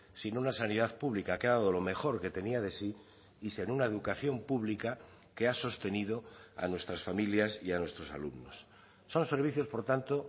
sin una sanidad pública que ha dado lo mejor que tenía de sí y sin una educación pública que ha sostenido a nuestras familias y a nuestros alumnos son servicios por tanto